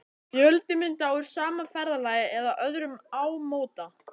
Fjöldi mynda úr sama ferðalagi eða öðrum ámóta.